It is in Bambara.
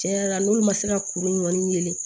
Tiɲɛ yɛrɛ la n'olu ma se ka kuru in kɔni wele